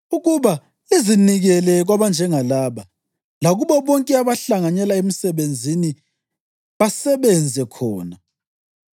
ukuba lizinikele kwabanjengalaba lakubo bonke abahlanganyela emsebenzini basebenze khona.